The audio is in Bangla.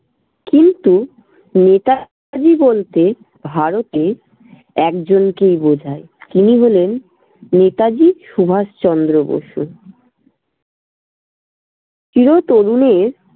কিন্তু নেতাজি বলতে ভারতে একজনকেই বোঝায়, তিনি হলেন নেতাজি সুভাষচন্দ্র বসু। চিরতরুণের